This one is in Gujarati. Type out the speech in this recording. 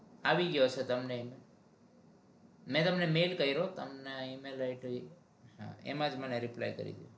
આવી ગયો છે તમને મે તમને mali કર્યો તમને email હોયતો એમાંજ reply કરી દો